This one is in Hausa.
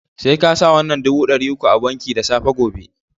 Sai ka sa wannan dubu dari uku a banki da safe gobe